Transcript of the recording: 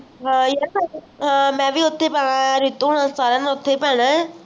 ਹਾਂ ਯਾਰ ਮਈ ਵੀ ਉਥੇ ਹੀ ਪੈਣਾ ਹੈ ਰਿਤੂ ਓਰੀ ਸਾਰਿਆਂ ਨੇ ਉਥੇ ਹੀ ਪੈਣਾ ਹੈ